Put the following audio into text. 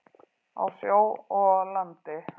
Á sjó og landi.